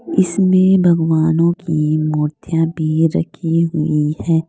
इसमें भगवानों की मूर्तियां भी रखी हुई है।